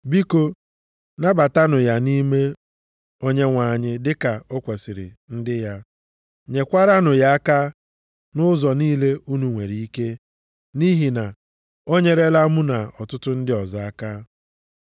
Biko nabatanụ ya nʼime Onyenwe anyị dịka o kwesiri ndị ya. Nyekwaranụ ya aka nʼụzọ niile unu nwere ike, nʼihi na o nyerela mụ na ọtụtụ ndị ọzọ aka.